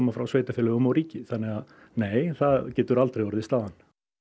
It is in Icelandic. frá sveitarfélögum og ríki þannig að nei það getur aldrei orðið staðan